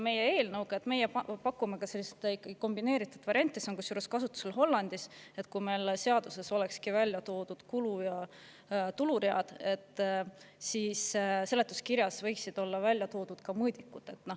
Meie pakume oma eelnõus sellise kombineeritud variandi – see on kasutusel kusjuures Hollandis –, et kui meil seaduses oleksid välja toodud kulu- ja tuluread, siis seletuskirjas võiksid olla välja toodud ka mõõdikud.